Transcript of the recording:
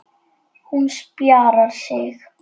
Hún spjarar sig.